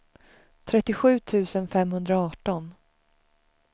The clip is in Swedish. trettiosju tusen femhundraarton